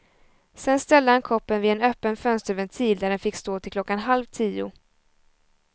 Sedan ställde han koppen vid en öppen fönsterventil, där den fick stå till klockan halv tio.